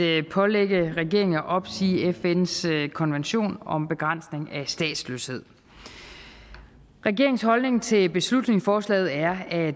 at pålægge regeringen at opsige fns konvention om begrænsning af statsløshed regeringens holdning til beslutningsforslaget er at